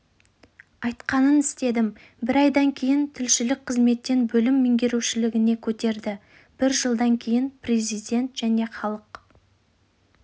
айтқанын істедім бір айдан кейін тілшілік қызметтен бөлім меңгерушілігіне көтерді бір жылдан кейін президент және халық